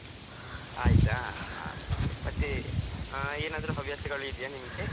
ಆಯ್ತಾ, ಹಾ ಮತ್ತೆ ಏನಾದ್ರು ಹವ್ಯಾಸಗಳು ಇದೆಯಾ ನಿಮ್ಗೆ?